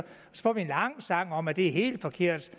får vi en lang sang om at det er helt forkert at